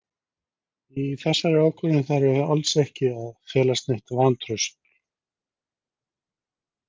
Í þessari ákvörðun þarf alls ekki að felast neitt vantraust.